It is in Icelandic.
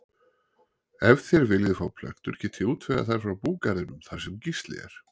Ef þér viljið fá plöntur get ég útvegað þær frá búgarðinum þar sem Gísli er.